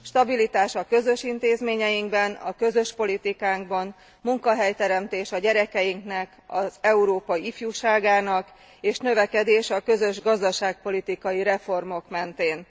Stabilitás a közös intézményeinkben, a közös politikánkban, munkahelyteremtés a gyerekeinknek, Európa ifjúságának és növekedés a közös gazdaságpolitikai reformok mentén.